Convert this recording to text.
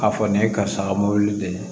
K'a fɔ nin ye karisa ka mɔbili de ye